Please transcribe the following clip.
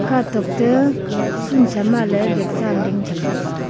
katok te phun sha ma ley ding tham taiga.